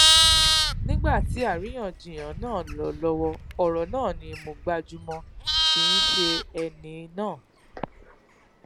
nígbà tí àríyànjiyàn náà ń lọ lówó òrò náà ni mo gbájú mó kìí ṣe ẹni náà